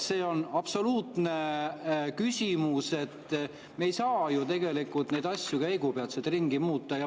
See on absoluutne küsimus, me ei saa ju neid asju käigu pealt ringi muuta.